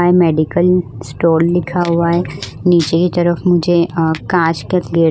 medical store लिखा हुआ है नीचे की तरफ मुझे कांच का गे --